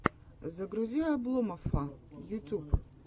загрузи обломоффа ютуб